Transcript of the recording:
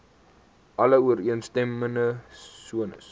alle ooreenstemmende sones